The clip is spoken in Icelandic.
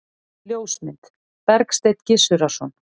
Ljósmynd: Bergsteinn Gizurarson.